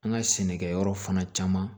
An ka sɛnɛkɛyɔrɔ fana caman